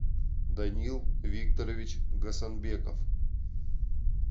даниил викторович гасанбеков